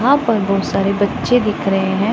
वहां पर बहोत सारे बच्चे दिख रहे हैं।